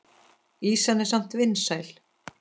Ýsan er samt vinsæl.